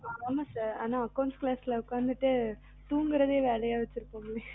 ஆமா sir ஆனா accounts class உக்காந்துட்டு தூங்குறதையே வேலையா வைச்சி இருப்போம்